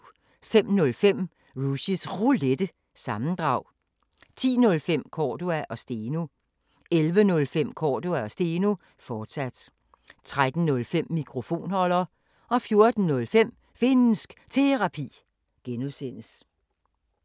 05:05: Rushys Roulette – sammendrag 10:05: Cordua & Steno 11:05: Cordua & Steno, fortsat 13:05: Mikrofonholder 14:05: Finnsk Terapi (G)